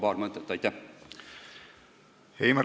Heimar Lenk, palun!